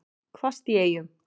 Hvasst í Eyjum